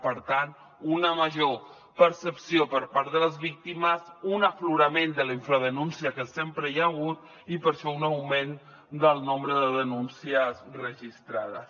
per tant una major percepció per part de les víctimes un aflorament de la infradenúncia que sempre hi ha hagut i per això un augment del nombre de denúncies registrades